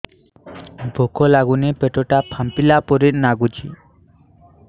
ଭୁକ ଲାଗୁନି ପେଟ ଟା ଫାମ୍ପିଲା ପରି ନାଗୁଚି